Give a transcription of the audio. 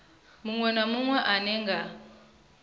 munwe na munwe ane nga